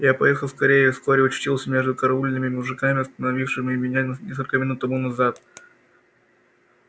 я поехал скорее и вскоре очутился между караульными мужиками остановившими меня несколько минут тому назад